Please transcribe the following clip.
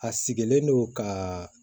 A sigilen don kaaa